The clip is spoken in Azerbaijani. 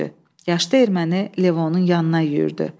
Yaşlı erməni Levonun yanına yüyürdü.